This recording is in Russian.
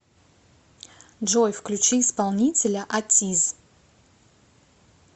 джой включи исполнителя атиз